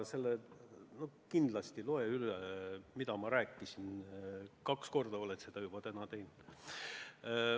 Kindlasti loe üle, mida ma täna selle kohta rääkisin, kaks korda olen seda juba teinud.